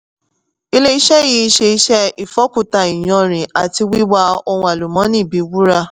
ilé-iṣẹ́ yìí ṣe iṣẹ́ ìfọ́kuta iyanrìn àti wíwa ohun àlùmọ́nì bí wúrà.